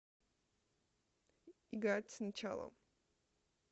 играть сначала